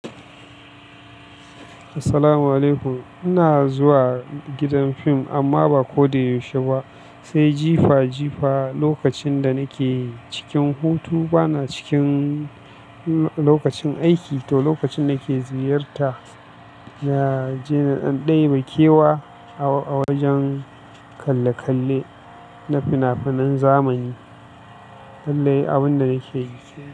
Assalamu alaikum. Ina zuwa gidan fim amma ba ko da yaushe ba, sai jifa jifa lokacin da nake cikin hutu bana cikin lokacin aiki to lokacin da nake ziyarta na je na ɗebe kewa a wajen kalle kalle na finafinan zamani. Kalle abin da nake yi ke nan.